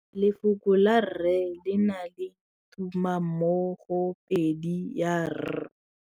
Lefoko la rre le na le tumammogôpedi ya, r.